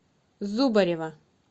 зубарева